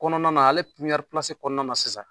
Kɔnɔna na, ale kɔnɔna na sisan